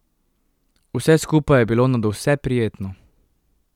Vse skupaj je bilo nadvse prijetno.